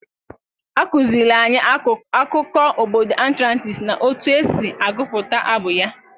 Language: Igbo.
A kụziiri anyị akụkọ obodo Atlantis na otu esi agụpụta abụ ya.